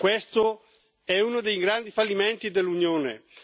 Questo è uno dei grandi fallimenti dell'Unione.